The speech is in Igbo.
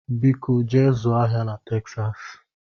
Biko jee zụọ ahịa na Texas